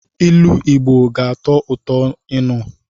Ilu Igbo ga-atọ ụtọ ịnụ.